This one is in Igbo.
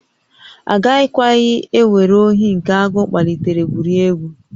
Agakwaghị ewere ohi nke agụụ kpalitere gwurie egwu